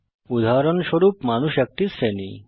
উদাহরণস্বরূপ মানুষ একটি শ্রেণী